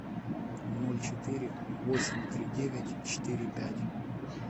ноль четыре восемь три девять четыре пять